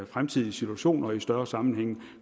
fremtidige situationer i større sammenhænge